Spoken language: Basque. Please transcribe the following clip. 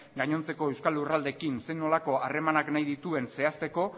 gainontzeko euskal lurraldeekin zein nolako harremanak nahi dituen zehazteko